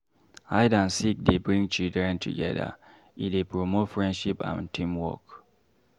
Hide and seek dey bring children together, e dey promote friendship and teamwork.